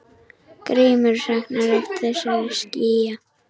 Grímur saknar oft þessara skýja.